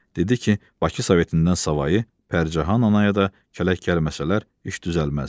Dedi ki, Baksovetindən savayı Pəricahan anaya da kələk gəlməsələr iş düzəlməz.